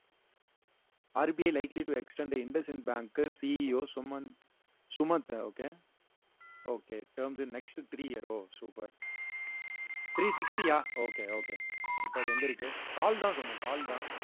R B I likely to extend the bank uh C E O Sumanth Sumanth okay okay terms in next three year oh super three sixty yeah okay okay இப்ப அது எங்க இருக்கு call தான் சொல்லணும் call தான்